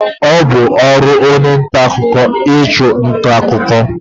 Ọ bu ọrụ onye nta akụkọ ichu nta akụkọ.